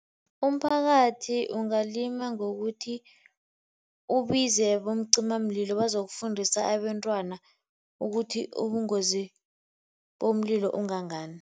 Umphakathi ungalima ngokuthi ubize bomcimamlilo bazokufundisa abentwana ukuthi ubungozi bomlilo ungangani.